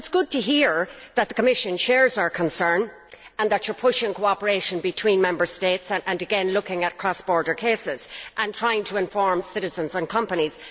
It is good to hear, therefore, that the Commission shares our concern and that it is pushing for cooperation between Member States and again looking at cross border cases and trying to inform citizens and companies.